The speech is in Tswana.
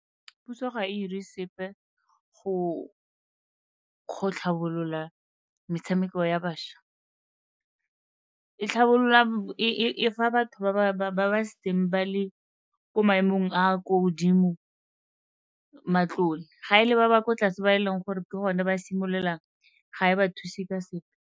Puso ga e 'ire sepe go tlhabolola metshameko ya bašwa, e tlhabolola, e fa batho ba ba setseng ba le ko maemong a a ko godimo matlole. Ga e le ba ba kwa tlase ba e leng gore ke gone ba simolola ga e ba thuse ka sepe.